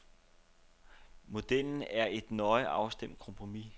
Modellen er et nøje afstemt kompromis.